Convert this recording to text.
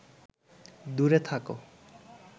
দূরে থাক